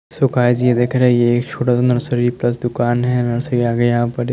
सुकाजी ये देख रहे हैं ये एक छोटा सा नर्सरी प्लस दुकान हैं नर्सरी आगे यहाँ पर--